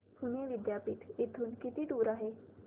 पुणे विद्यापीठ इथून किती दूर आहे